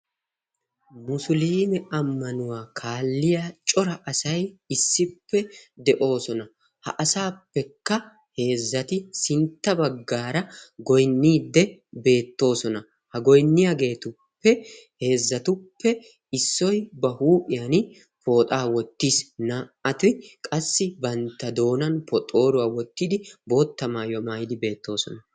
musuliime ammanuwaa kaalliya cora asai issippe de7oosona. ha asaappekka heezzati sintta baggaara goinniidde beettoosona. ha goinniyaageetuppe heezzatuppe issoi ba huuphiyan pooxaa wottiis naa77ati qassi bantta doonan poxooruwaa wottidi boottamaayyo maayidi beettoosona.